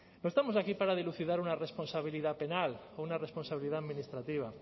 no estamos aquí para dilucidar una responsabilidad penal o una responsabilidad administrativa